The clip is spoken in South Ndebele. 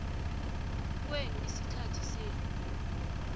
kwenu isikhathi senu